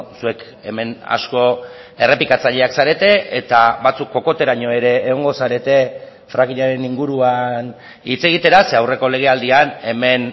zuek hemen asko errepikatzaileak zarete eta batzuk kokoteraino ere egongo zarete frackingaren inguruan hitz egitera ze aurreko lege aldian hemen